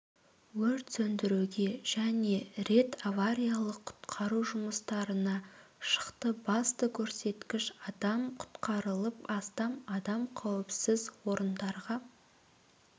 өрт сөндіруге және рет авариялық-құтқару жұмыстарына шықты басты көрсеткіш адам құтқарылып астам адам қауіпсіз орындарға